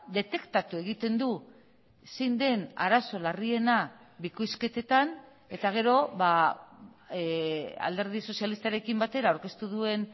detektatu egiten du zein den arazo larriena bikoizketetan eta gero alderdi sozialistarekin batera aurkeztu duen